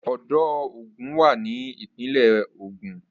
Odò Ògùn wà ní ìpínlẹ̀ Ògun.